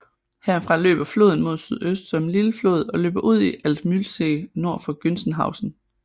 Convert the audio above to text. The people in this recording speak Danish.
Herfra løber floden mod sydøst som en lille flod og løber ud i Altmühlsee nord for Gunzenhausen